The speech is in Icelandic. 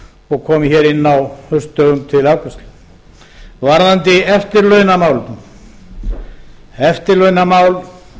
og komi hér inn á haustdögum til afgreiðslu varðandi eftirlaunamálið eftirlaunamál